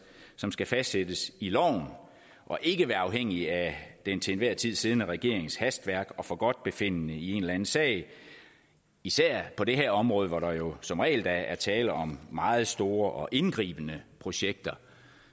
som skal fastsættes i loven og ikke være afhængig af den til enhver tid siddende regerings hastværk og forgodtbefindende i en eller anden sag især på det her område hvor der jo som regel da er tale om meget store og indgribende projekter